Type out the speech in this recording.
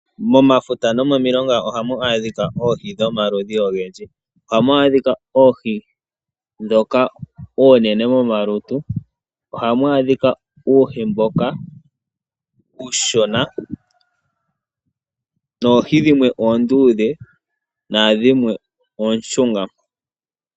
Momafuta no momiilonga ohamu adhika oohi dhomaludhi ogendji. Oha mu adhika oohi oonene momalutu. Oha mu adhika uuhi mboka uushona, noohi dhimwe oondudhe nadhimwe oonshunga.